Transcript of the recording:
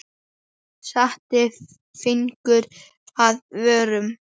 Setti fingur að vörum.